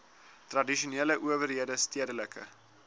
tradisionele owerhede stedelike